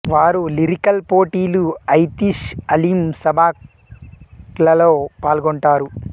వారు లిరికల్ పోటీలు ఐతిష్ అలిం సబాక్ లలో పాల్గొంటారు